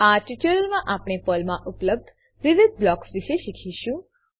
આ ટ્યુટોરીયલમાં આપણે પર્લમાં ઉપલબ્ધ વિવિધ બ્લોક્સ વિશે શીખીશું